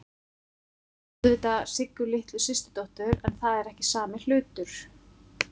Ég átti auðvitað Siggu litlu systurdóttur, en það er ekki sami hlutur.